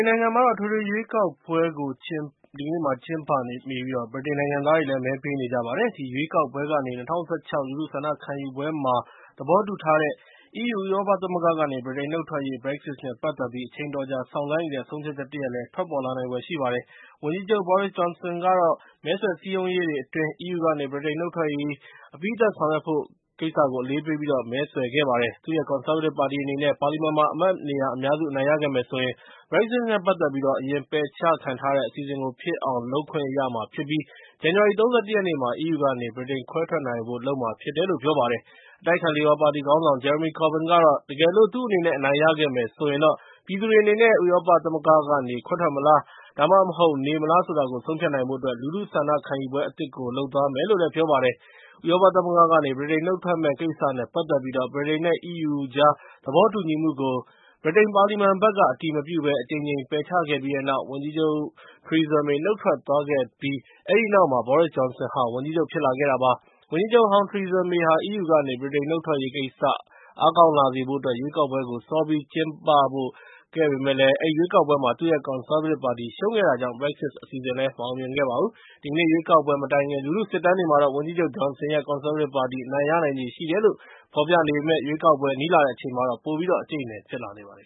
်နိုင်ငံမှာတော့ အထွေထွေရွေးကောက်ပွဲကို ကျင်းပနေပြီး ဗြိတိန် နိုင်ငံသားတွေလည်း မဲပေးနေကြပါတယ်။ ဒီရွေးကောက်ပွဲကနေ ၂၀၁၆ လူထုဆန္ဒခံယူပွဲမှာ သဘောတူထားတဲ့ EU ဥရောပသမဂ္ဂကနေ ဗြိတိန်နှုတ်ထွက်ရေး (Brexit) နဲ့ ပတ်သက်ပြီး အချိန်အတော်ကြာ စောင့်ဆိုင်းနေတဲ့ ဆုံးဖြတ်ချက်လည်း ထွက်ပေါ်လာမှာဖြစ်ပါတယ်။ ဝန်ကြီးချုပ် Boris Johnson ကတော့ မဲဆွယ်စည်းရုံးရေးတွေ အတွင်း EU ကနေ ဗြိတိန်နုတ်ထွက်ရေး အပြီးသတ်ဆောင်ရွက်ဖို့ကို အလေးပေးပြီး မဲဆွယ်ခဲ့ပါတယ်။ သူ့ရဲ့ ကွန်ဆာဗေးတစ်ပါတီအနေနဲ့ ပါလီမန်မှာ အမတ်နေရာအများစုခဲ့မယ်ဆိုရင် (Brexit) နဲ့ ပတ်သက်ပြီး အရင်ပယ်ချခံထားရတဲ့ အစီအစဉ်ကို ဖြစ်အောင်လုပ်ဖို့ ခွင့်ပြုမှာဖြစ်ပြီး ဇန်နဝါရီ ၃၁ ရက်နေ့မှာ EU ကနေ ဗြိတိန်ခဲွဲထွက်ဖို့ ကိစ္စကို လုပ်မှာဖြစ်တယ်လို့ ပြောပါတယ်။ အတိုက်အခံ လေဘာပါတီခေါင်းဆောင် Jeremy Corbyn ကတော့ တကယ်လို့ သူအနေနဲ့အနိုင်ရခဲ့မယ်ဆိုရင်တော့ ပြည်သူတွေအနေနဲ့ ဥရောပသမဂ္ဂကနေ ခွဲထွက်မလား ဒါမှမဟုတ် နေမလား ဆိုတာကို ဆုံးဖြတ်နိုင်ဖို့အတွက် လူထုဆန္ဒခံယူပွဲအသစ်ကို လုပ်သွားမယ်လို့ ပြောပါတယ်။ ဥရောပသမဂ္ဂကနေ ဗြိတိန်နှုတ်ထွက်မယ့် ကိစ္စနဲ့ ပတ်သက်ပြီး ဗြိတိန် နဲ့ EU ကြားသဘောတူညီမှုကို ဗြိတိန်ပါလီမန်ဘက်ကနေ အတည်မပြုဘဲ အကြိမ်ကြိမ် ပယ်ချခဲ့ပြီးတဲ့နောက် ဝန်ကြီးချုပ် ထရီဇာမေ နုတ်ထွက်သွားခဲ့ပြီးတဲ့နောက်မှာ Boris Johnson ဝန်ကြီးချုပ် ဖြစ်လာခဲ့တာပါ။ ဝန်ကြီးချုပ်ဟောင်း ထရီဇာမေဟာ EU ကနေ ဗြိတိန်နုတ်ထွက်ရေးကိစ္စ အားကောင်းလာစေဖို့အတွက် ရွေးကောက်ပွဲကို စောပြီးကျင်းပဖို့ လုပ်ခဲ့ပေမယ့်၊ အဲဒီရွေးကောက်ပွဲမှာ သူ့ရဲ့ ကွန်ဆားဗေးတစ်ပါတီ ရှုံးနိမ့်ခဲ့တာကြောင့် Brexit အစီအစဉ်လည်း မအောင်မြင်ခဲ့ပါဘူး။ ဒီကနေ့ ရွေးကောက်ပွဲမတိုင်ခင် လူထုစစ်တမ်းတွေမှာတော့ ဝန်ကြီးချုပ်ဂျွန်ဆင်ရဲ့ ကွန်ဆားဗေးတစ်ပါတီ အနိုင်ရနိုင်ချေရှိတယ်လို့ ဖော်ပြနေပေမယ့် ရွေးကောက်ပွဲ နီးလာတဲ့အချိန်မှာတော့ ပိုပြီးတော့ အကြိတ်အနယ် ဖြစ်လာနေပါတယ်